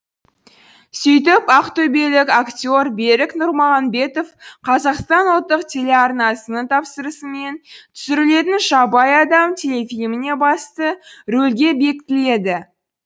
сөйтіп ақтөбелік актер берік нұрмағамбетов қазақстан ұлттық телеарнасының тапсырысымен түсірілетін жабайы адам телефильміне басты рөлге бекітіледі